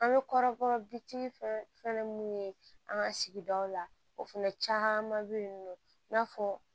An bɛ kɔrɔbɔrɔ bitiki fɛnɛ fɛn mun ye an ka sigidaw la o fana caman bɛ yen nɔ i n'a fɔ